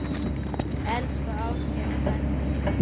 Elsku Ásgeir frændi.